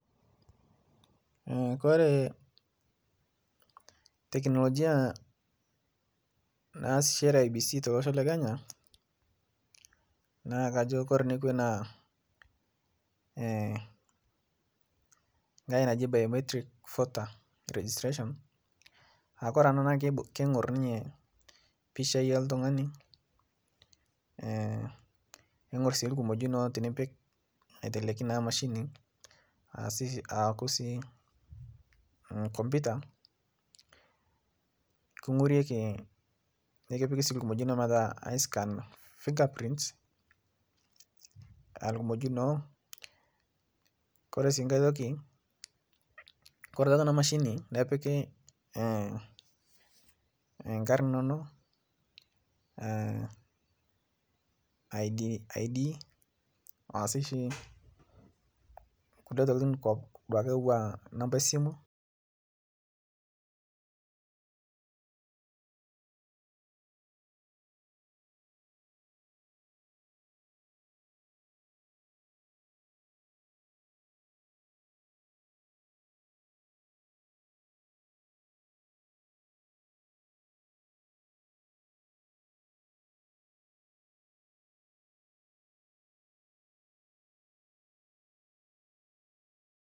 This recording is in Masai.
Kore teklojia naasishere eibc te losho lekenya naa kajo Kore nekwe naa ngae naji biometric voter registration aaku Kore ana kengur ninye pichai eltungani neingur si lkimojinoo tinipik aiteleki naa machini ashu aku si komputa kingoreki nikipiki si lkumojino metaa ascan fingerprints lkumojino, Kore si nkae toki kore tatua ana machini nipiki ng'ar inono, id ashu sii nkule tokitin atua namba esimu.